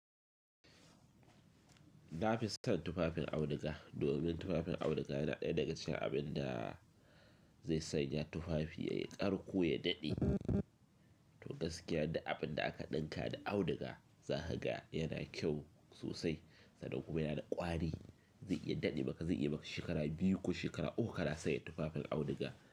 Na fi son tufafin auduga domin tufafin auduga yana ɗaya daga cikin abin da zai sanya tufafi yayi karko ya daɗe. To gaskiya duk abin da aka ɗinka da auduga, za kaga yana kyau sosai sannan kuma yana da ƙwari. Zai iya daɗe maka, zai iya maka shekara biyu ko shekara uku ka na sanya tufafin auduga.